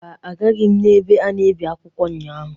Mba, agaghị m ebe a na-ebi akwụkwọ ụnyahụ.